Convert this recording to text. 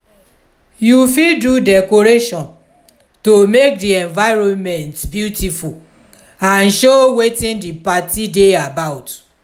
you fit do decoration to make the environment beautiful and show wetin the parti de about